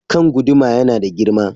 Kan guduma ya nada girma.